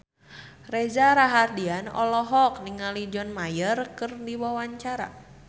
Reza Rahardian olohok ningali John Mayer keur diwawancara